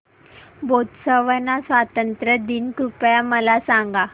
Botswana स्वातंत्र्य दिन कृपया मला सांगा